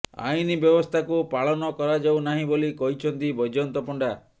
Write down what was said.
ଆଇନ ବ୍ୟବସ୍ଥାକୁ ପାଳନ କରାଯାଉ ନାହିଁ ବୋଲି କହିଛନ୍ତି ବୈଜୟନ୍ତ ପଣ୍ତା